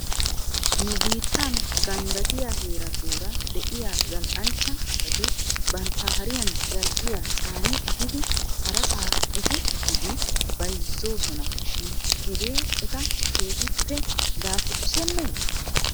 Nu biittan ganddattiyaa heeratuura de'iyaa zal'anchcha asati bantta hariyan zal'iyaa caani ehidi harasaa efi efidi bayzoosona shin hegee eta keehippe daafurssenee?